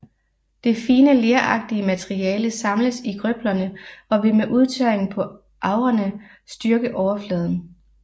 Det fine leragtige materiale samles i grøblerne og vil ved udtørring på agrene styrke overfladen